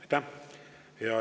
Aitäh!